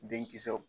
Denkisɛw